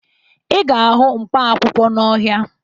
Ị ga-ahụ mkpaakwụkwọ n'ọhịa